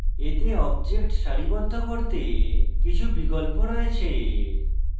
এতে objects সারিবদ্ধ করতে কিছু বিকল্প রয়েছে